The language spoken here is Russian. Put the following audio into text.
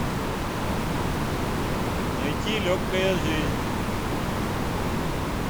найти легкая жизнь